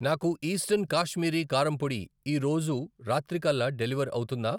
నాకు ఈస్టర్న్ కాశ్మీరీ కారం పొడి ఈరోజు రాత్రికల్లా డెలివర్ అవుతుందా?